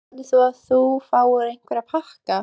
Hjördís: Heldurðu að þú fáir einhverja pakka?